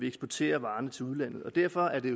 eksportere til udlandet derfor er det